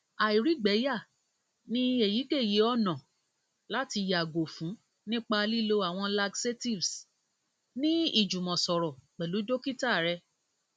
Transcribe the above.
àìrígbẹyà ni eyikeyi ọna lati yago fun nipa lilo awọn laxatives ni ijumọsọrọ pẹlu dokita rẹ